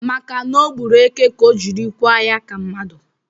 Maka na ọ gburu eke ka o jiri kwa ya ka mmadụ